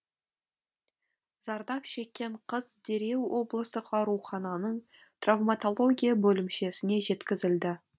зардап шеккен қыз дереу облыстық аурухананың травматология бөлімшесіне жеткізілді